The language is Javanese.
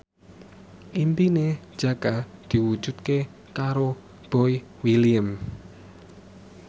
impine Jaka diwujudke karo Boy William